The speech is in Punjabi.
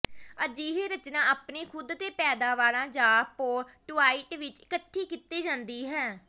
ਅਜਿਹੀ ਰਚਨਾ ਆਪਣੇ ਖੁਦ ਦੇ ਪੈਦਾਵਾਰਾਂ ਜਾਂ ਪੋਰਟੁਆਇਟ ਵਿਚ ਇਕੱਠੀ ਕੀਤੀ ਜਾਂਦੀ ਹੈ